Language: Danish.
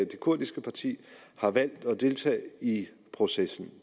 det kurdiske parti har valgt at deltage i processen